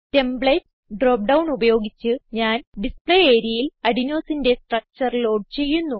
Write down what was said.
templates drop down ഉപയോഗിച്ച് ഞാൻ display areaയിൽ Adenosineന്റെ സ്ട്രക്ചർ ലോഡ് ചെയ്യുന്നു